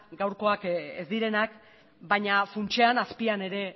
gaurkoak ez direnak baina funtsean azpian ere